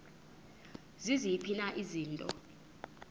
ziziphi na izinto